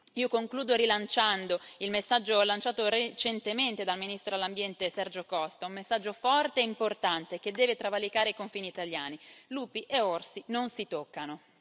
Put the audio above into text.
Io concludo rilanciando il messaggio lanciato recentemente dal ministro per l'Ambiente Sergio Costa, un messaggio forte e importante che deve travalicare i confini italiani lupi e orsi non si toccano.